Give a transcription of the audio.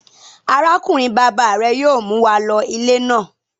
Arákùnrin-bàbá rẹ yóò mú wa lọ ilé náà.